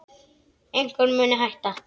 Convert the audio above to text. Einhver muni hætta.